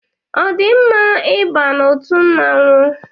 Ọ dị mma I ba n'otu mmọnwụ?